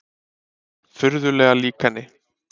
Furðulega lík henni.